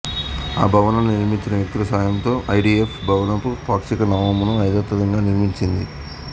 ఆ భవనాన్ని నిర్మించిన వ్యక్తుల సాయంతో ఐడిఎఫ్ భవనపు పాక్షిక నమూనాను యథాతథంగా నిర్మించింది